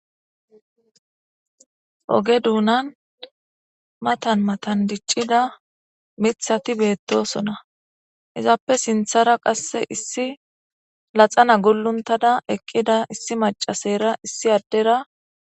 oge duunan matan matan diccida mithati beettosona izaappe sinthara qasse issi laxana guluntada eqqida issi macasera issi addera